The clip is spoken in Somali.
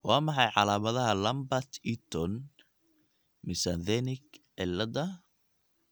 Waa maxay calaamadaha Lambert Eaton myasthenic cilada?